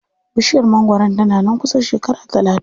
Bishiyar mangwaron tana nan kusan shekara talatin.